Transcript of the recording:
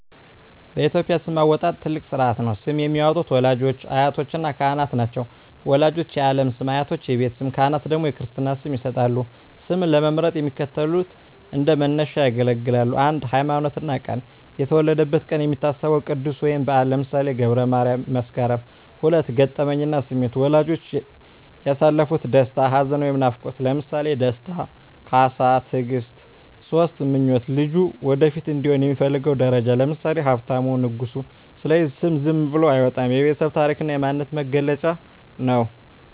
በኢትዮጵያ ስም አወጣጥ ትልቅ ሥርዓት ነው። ስም የሚያወጡት ወላጆች፣ አያቶችና ካህናት ናቸው። ወላጆች የዓለም ስም፣ አያቶች የቤት ስም፣ ካህናት ደግሞ የክርስትና ስም ይሰጣሉ። ስም ለመምረጥ የሚከተሉት እንደ መነሻ ያገለግላሉ 1)ሃይማኖትና ቀን የተወለደበት ቀን የሚታሰበው ቅዱስ ወይም በዓል (ለምሳሌ ገብረ ማርያም፣ መስከረም)። 2)ገጠመኝና ስሜት ወላጆች ያሳለፉት ደስታ፣ ሐዘን ወይም ናፍቆት (ለምሳሌ ደስታ፣ ካሳ፣ ትግስት)። 3)ምኞት ልጁ ወደፊት እንዲሆን የሚፈለገው ደረጃ (ለምሳሌ ሀብታሙ፣ ንጉሱ)። ስለዚህ ስም ዝም ብሎ አይወጣም፤ የቤተሰብ ታሪክና የማንነት መገለጫ ነው።